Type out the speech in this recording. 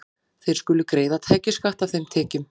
Þeir skulu greiða tekjuskatt af þeim tekjum.